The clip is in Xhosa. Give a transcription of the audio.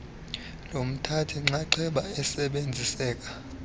lomthathi nxxaxheba elisebenziseka